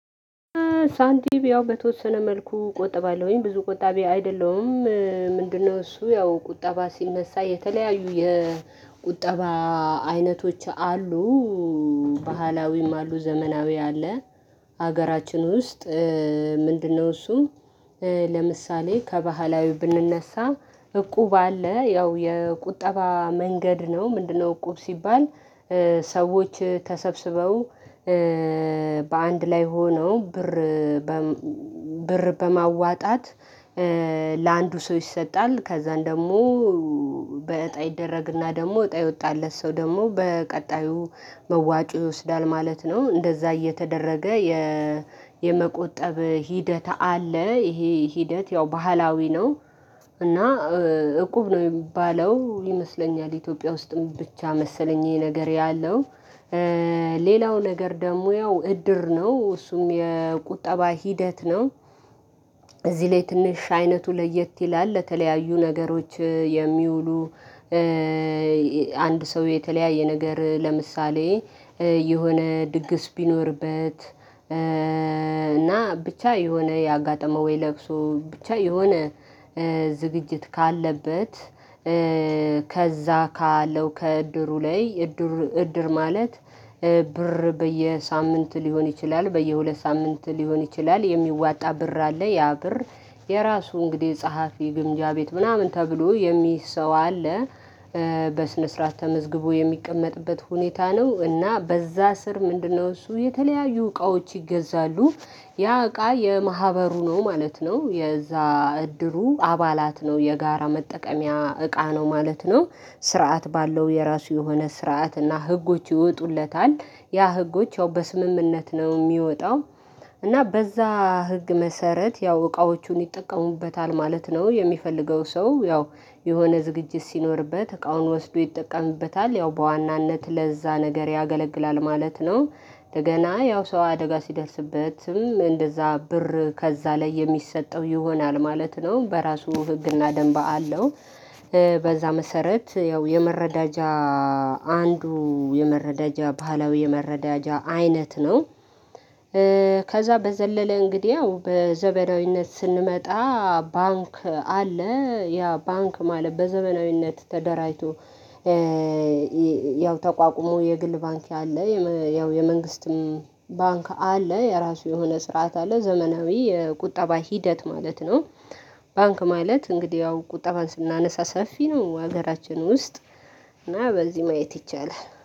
ሳንቲም ያው በተወሰነ መልኩ ቆጥባለሁኝ ብዙ ቆጣቢ አይደለሁም። ምንድነው? እሱ ያው ቁጠባ ሲነሳ የተለያዩ የቁጠባ አይነቶች አሉ። ባህላዊም አሉ ዘመናዊ አለ። ሀገራችን ውስጥ ምንድነው? እሱም ለምሳሌ ከባህላዊ ብንነሳ እቁብ አለ ያው የቁጠባ መንገድ ነው። ምንድነው? እቁብ ሲባል ሰዎች ተሰብስበው በአንድ ላይ ሆነው ብር በማዋጣት ለአንዱ ሰው ይሰጣል ከዛን ደግሞ በእጣ ይደረግና ደግሞ እጣ የወጣለት ሰው ደግሞ በቀጣዩ መዋጮ ይወስዳል ማለት ነው። እንደዛ እየተደረገ የመቆጠብ ሂደት አለ። ይሄ ሂደት ያው ባህላዊ ነው። እና እቁብ ነው የሚባለው ይመስለኛል ኢትዮጵያ ውስጥም ብቻ መሰለኝ ይሄ ነገር ያለው። ሌላው ነገር ደግሞ ያው እድር ነው እሱም የቁጠባ ሂደት ነው። እዚህ ላይ ትንሽ አይነቱ ለየት ይላል ለተለያዩ ነገሮች የሚውሉ አንድ ሰው የተለያየ ነገር ለምሳሌ የሆነ ድግስ ቢኖርበት። እና ብቻ የሆነ ያጋጠመው ወይ ለቅሶ ብቻ የሆነ ዝግጅት ካለበት። ከዛ ካለው ከእድሩ ላይ እድር እድር ማለት ብር በየሳምንት ሊሆን ይችላል በየሁለት ሳምንት ሊሆን ይችላል የሚዋጣ ብር አለ ያ ብር የራሱ እንግዲህ ጸሐፊ ግምጃ ቤት ምናምን ተብሎ የሚይዝ ሰው አለ። በስነ ስርዓት ተመዝግቦ የሚቀመጥበት ሁኔታ ነው እና በዛ ስር ምንድነው? እሱ የተለያዩ እቃዎች ይገዛሉ። ያ እቃ የማህበሩ ነው ማለት ነው። የዛ እድሩ አባላት ነው የጋራ መጠቀሚያ እቃ ነው ማለት ነው። ስርዓት ባለው የራሱ የሆነ ስርዓት እና ህጎች ይወጡለታል ያ ህጎች ያው በስምምነት ነው የሚወጣው። እና በዛ ህግ መሰረት ያው እቃዎቹን ይጠቀሙበታል ማለት ነው። የሚፈልገው ሰው ያው የሆነ ዝግጅት ሲኖርበት እቃውን ወስዶ ይጠቀምበታል ያው በዋናነት ለዛ ነገር ያገለግላል ማለት ነው። ደገና ያው ሰው አደጋ ሲደርስበትም እንደዛ ብር ከዛ ላይ የሚሰጠው ይሆናል ማለት ነው በራሱ ህግና ደንብ አለው። በዛ መሰረት ያው የመረዳጃ አንዱ የመረዳጃ ባህላዊ የመረዳጃ አይነት ነው። ከዛ በዘለለ እንግዲያው በዘመናዊነት ስንመጣ ባንክ አለ ያ ባንክ ማለት በዘመናዊነት ተደራጅቶ። ያው ተቋቁሞ የግል ባንክ አለ ያው የመንግስትም ባንክ አለ የራሱ የሆነ ስርዓት አለ ዘመናዊ የቁጠባ ሂደት ማለት ነው። ባንክ ማለት እንግዲህ ያው ቁጠባን ስናነሳ ሰፊ ነው ሀገራችን ውስጥ እና በዚህ ማየት ይቻላል